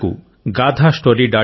నాకు gaathastory